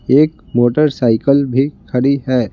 एक मोटरसाइकिल भी खड़ी है।